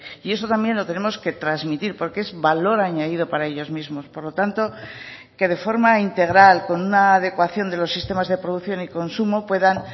y eso también lo tenemos que transmitir porque es valor añadido para ellos mismos por lo tanto que de forma integral con una adecuación de los sistemas de producción y consumo puedan